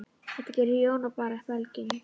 Þetta gerði Jón og bar belginn.